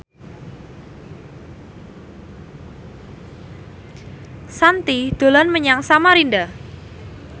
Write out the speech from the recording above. Shanti dolan menyang Samarinda